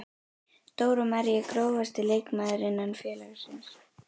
Dóra María Grófasti leikmaður innan félagsins?